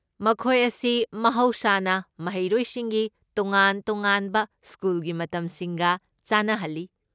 ꯃꯈꯣꯏ ꯑꯁꯤ ꯃꯍꯧꯁꯥꯅ ꯃꯍꯩꯔꯣꯏꯁꯤꯡꯒꯤ ꯇꯣꯉꯥꯟ ꯇꯣꯉꯥꯟꯕ ꯁ꯭ꯀꯨꯜꯒꯤ ꯃꯇꯝꯁꯤꯡꯒ ꯆꯥꯟꯅꯍꯜꯂꯤ꯫